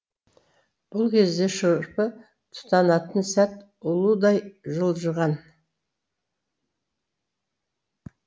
бұл кезде шырпы тұтанатын сәт ұлудай жылжыған